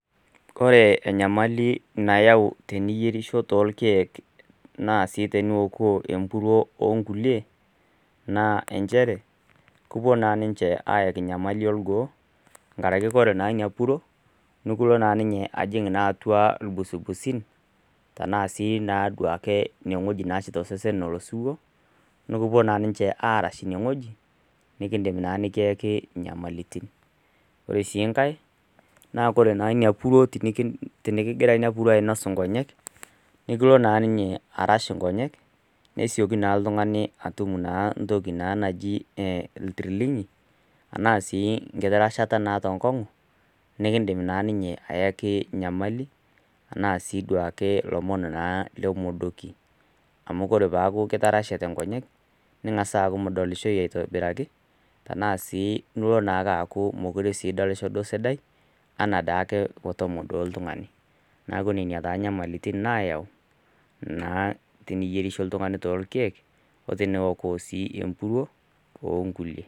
Ore enyamali nayau teniyierisho toolkek, naa sii teniwokuo empuruo, o nkulie naa inchere, kepuo naa ninche aaki enyamali olgoo, enkaraki ore naa ina puruo, nekilo naa ajing' naa ninye atua iilgusigusin, tanaa sii duo ake tosesen etotiwuo, nekipupo naa ninche aaras ine wueji, nekindim naa neikiyaki inyamalitin. Ore sii enkai naa tenekigira ina puruo ainos inkonyek, nekilo naa ninye aras inkonyek, nesioki naa oltung'ani atum iltirlinyi, anaa sii enkiti rashata te enkong'u nekindim naa ninye ayaki enyamali, anaa sii duo ake ilomon le moodoki. Amuore pee eaku kitarashate inkonyek, ning'as aaku midolihoyu aitobiraki, tanaa sii ilo duo aaku mekure ing'orisho esidai, anaa daake tenemodou oltung'ani. Neaku nena naa inyamalitin naayau, naa teniyerisho naa ooltung'ani toolkeek o teneok sii empuruo oolkuliie.